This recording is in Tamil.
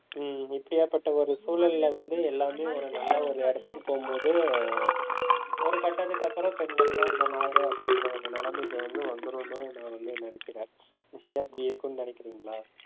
உம் இப்படியாப்பட்ட ஒரு சூழல்ல வந்து, எல்லாமே ஒரு நல்ல ஒரு இடத்துக்குப் போகும்போது ஒரு கட்டத்துக்கு அப்புறம் பெண்கள்தான், இந்த நாடு அப்படின்ற ஒரு நிலைமைக்கு வந்து வந்துருன்னு நான் வந்து நினைக்கிறேன் நீங்க அப்படி இருக்கும்னு நினைக்கிறீங்களா